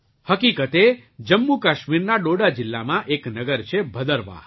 હકીકતે જમ્મુકાશ્મીરના ડોડા જિલ્લાં એક નગર છે ભદરવાહ